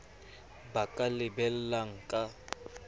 ba ka a lebellang ka